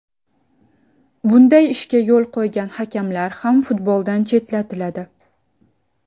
Bunday ishga yo‘l qo‘ygan hakamlar ham futboldan chetlatiladi”.